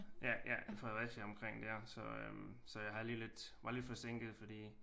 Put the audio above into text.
Ja ja Fredericia omkring dér så øh så jeg har lige lidt var lidt forsinket fordi